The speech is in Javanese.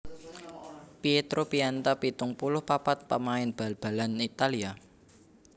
Pietro Pianta pitung puluh papat pamain bal balan Italia